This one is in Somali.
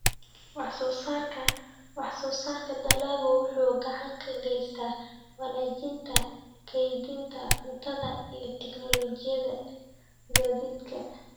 Wax-soo-saarka dalaggu wuxuu gacan ka geystaa wanaajinta kaydinta cuntada iyo tignoolajiyada gaadiidka.